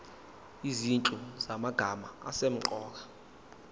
izinhlu zamagama asemqoka